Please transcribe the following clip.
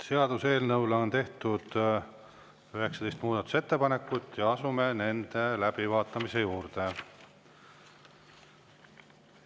Seaduseelnõu kohta on tehtud 19 muudatusettepanekut ja me asume nende läbivaatamise juurde.